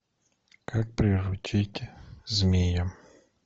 как приручить змея